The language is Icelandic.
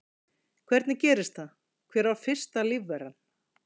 Hvernig gerðist það, hver var fyrsta lífveran?